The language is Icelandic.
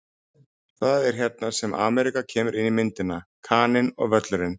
Það er hérna sem Ameríka kemur inn í myndina: Kaninn og Völlurinn.